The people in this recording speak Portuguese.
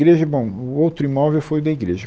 Igreja, bom, o outro imóvel foi o da igreja.